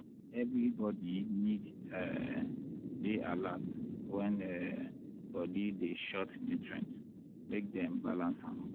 everybody need um dey alert when um body dey short nutrient make dem balance am.